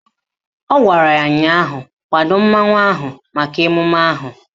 Ọ gwara ya ụnyaahụ " Kwado mmanwụ ahụ maka emume ahụ"!